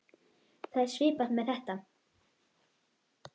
Það er svipað með þetta.